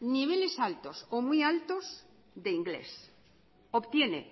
niveles altos o muy altos de inglés obtiene